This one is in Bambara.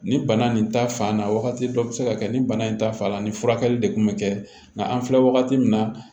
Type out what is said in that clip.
Ni bana nin ta fan na wagati dɔ bi se ka kɛ ni bana in ta fan na ni furakɛli de kun bɛ kɛ nka an filɛ wagati min na